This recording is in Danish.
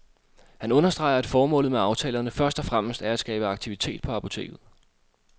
Han understreger, at formålet med aftalerne først og fremmest er at skabe aktivitet på apoteket.